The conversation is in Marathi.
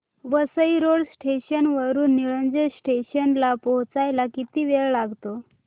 वसई रोड स्टेशन वरून निळजे स्टेशन ला पोहचायला किती वेळ लागतो